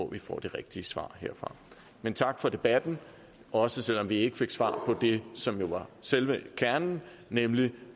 vi får det rigtige svar herfra men tak for debatten også selv om vi ikke fik svar på det som jo er selve kernen nemlig